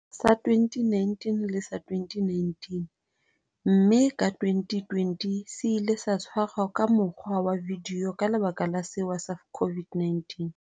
sa 2018 le sa 2019, mme ka 2020 se ile sa tshwarwa ka mokgwa wa vidio ka lebaka la sewa sa COVID-19.